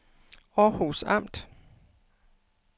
Århus Amt